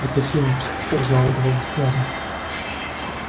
это филч узнал голос гарри